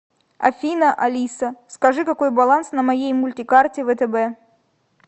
афина алиса скажи какой баланс на моей мультикарте втб